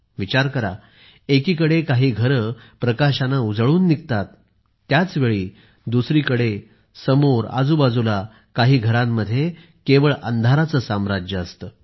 विचार करा एकीकडे काही घरे प्रकाशाने उजळून निघतात त्याच वेळी दुसरीकडे समोर आजूबाजूला काही घरांमध्ये केवळ अंधाराचे साम्राज्य असते